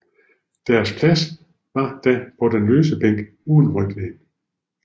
Deres plads var da på den løse bænk uden ryglæn